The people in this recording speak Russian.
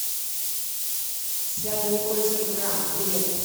свято никольский храм билет